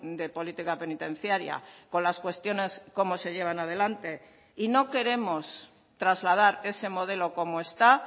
de política penitenciaria con las cuestiones cómo se llevan adelante y no queremos trasladar ese modelo como está